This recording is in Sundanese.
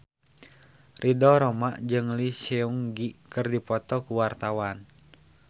Ridho Roma jeung Lee Seung Gi keur dipoto ku wartawan